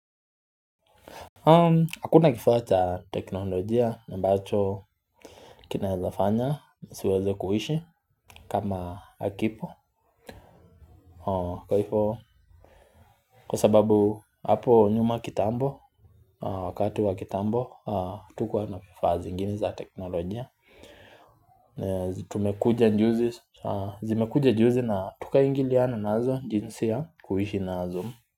Hakuna kifaa cha teknolojia ambacho kinaweza fanya nisiweze kuishi kama hakipo kwa hivo kwa sababu hapo nyuma kitambo Wakati wa kitambo hatukuwa na vifaa zingine za teknolojia Tumekuja juzi Zimekuja juzi na tukaingiliana nazo jinsi ya kuishi nazo.